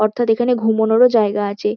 অর্থাৎ এখানে ঘুমোনোরও জায়গা আছে।